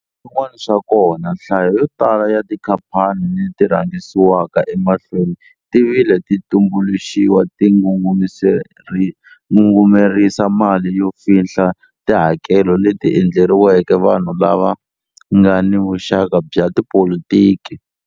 Swin'wana swa kona, nhlayo yotala ya tikhaphani leti rhangisiwaka emahlweni ti vile ti tumbuluxiwa ti ngungumerisa mali no fihla tihakelo leti endleriweke vanhu lava nga ni vuxaka bya tipolitiki.